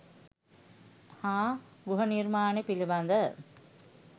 හා ගෘහනිර්මාණ පිළිබඳ